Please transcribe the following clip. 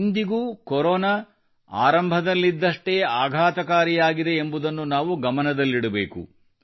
ಇಂದಿಗೂ ಕೊರೊನಾ ಆರಂಭದಲ್ಲಿದ್ದಷ್ಟೇ ಆಘಾತಕಾರಿಯಾಗಿದೆ ಎಂಬುದನ್ನು ನಾವು ಗಮನದಲ್ಲಿಡಬೇಕು